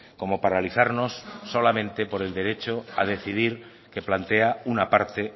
como paralizarnos solamente por el derecho a decidir que plantea una parte